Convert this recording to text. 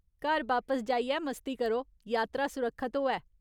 घर बापस जाइयै मस्ती करो, यात्रा सुरक्खत होऐ।